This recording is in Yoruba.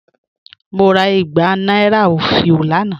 Mo rà ìgbà nàìrà ofìó lánà.